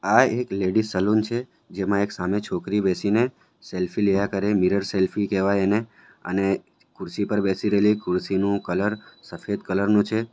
આ એક lady salon છે જેમાં એક સામે છોકરી બેસીને સેલ્ફી લેયા કરે મિરર સેલ્ફી કહેવાય એને અને ખુરશી પર બેસી રેલી ખુરશી નું કલર સફેદ કલર નું છે.